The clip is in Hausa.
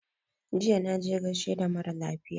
Jiya na je gaishe da mara lafiya